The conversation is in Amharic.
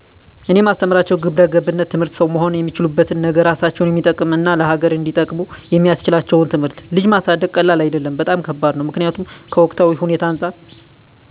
እኔ ማስተምራቸው ግብረገብነት ትምህርት ሠው መሆን እሚችሉበትን ነገ እራሳቸውን እሚጠቅም እና ለሀገር እንዲጠቅሙ የሚስችላቸውን ትምህርት። ልጅ ማሳደግ ቀላል አደለም በጣም ከባድ ነው ምክኒያቱም ከወቅታዊ ሁኔታው አንፃር